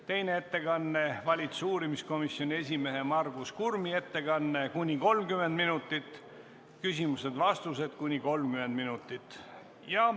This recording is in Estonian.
Teine ettekanne, valitsuse uurimiskomisjoni esimehe Margus Kurmi ettekanne, on kuni 30 minutit, küsimused ja vastused kuni 30 minutit.